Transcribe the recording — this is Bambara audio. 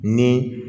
Ni